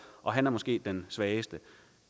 og han er måske den svageste